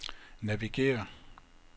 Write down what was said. navigér